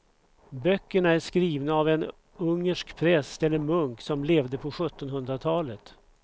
Böckerna är skrivna av en ungersk präst eller munk som levde på sjuttonhundratalet.